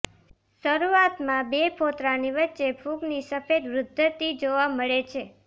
શરૂઆતમાં બે ફોતરાની વચ્ચે ફૂગની સફેદ વૃધ્િધ જોવા મળે છે